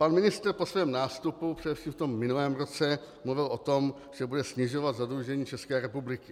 Pan ministr po svém nástupu, především v tom minulém roce, mluvil o tom, že bude snižovat zadlužení České republiky.